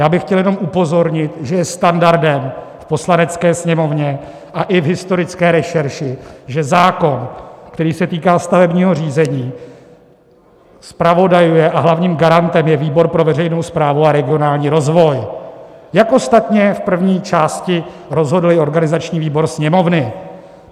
Já bych chtěl jenom upozornit, že je standardem v Poslanecké sněmovně a i v historické rešerši, že zákon, který se týká stavebního řízení, zpravodajuje a hlavním garantem je výbor pro veřejnou správu a regionální rozvoj, jak ostatně v první části rozhodl i organizační výbor Sněmovny.